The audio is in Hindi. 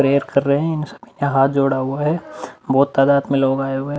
प्रेयर कर रहे हैं। हाथ जोड़ा हुआ है। बहोत तादाद में लोग आए हुए हैं।